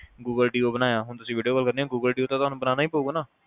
Google deo ਬਣਾਇਆ ਹੁਣ ਤੁਸੀ video call ਕਰਨੀ Google deo ਤੁਹਾਨੂੰ ਤਾ ਬਣਾਓਣਾ ਈ ਪਾਉਗਾ